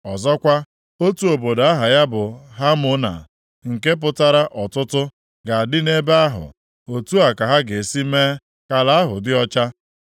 Ọzọkwa, otu obodo aha ya bụ Hamona, nke pụtara ọtụtụ, ga-adị nʼebe ahụ. Otu a ka ha ga-esi mee ka ala ahụ dị ọcha.’